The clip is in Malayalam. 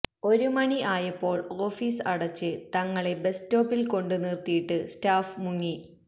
ഒരു മണി ആയപ്പോൾ ഓഫീസ് അടച്ച് തങ്ങളെ ബസ് സ്റ്റോപ്പിൽ കൊണ്ട് നിർത്തിയിട്ട് സ്റ്റാഫ് മുങ്ങി